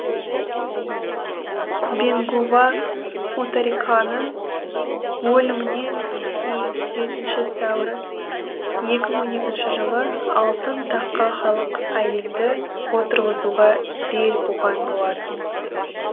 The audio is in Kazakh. бингу ва мутариканың өлімінен кейін жетінші сәуір екі мың он екінші жылы алтын таққа халық әйелді отырғызуға бел буған болатын